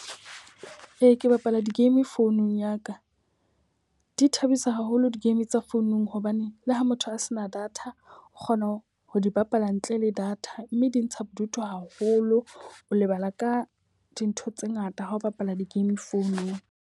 Ee, ke bapala di-game founung ya ka. Di thabisa haholo di-game tsa founung hobane le ha motho a se na data, o kgona ho di bapala ntle le data. Mme di ntsha bodutu haholo. O lebala ka dintho tse ngata ha ho bapala di-game founung.